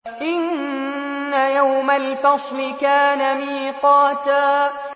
إِنَّ يَوْمَ الْفَصْلِ كَانَ مِيقَاتًا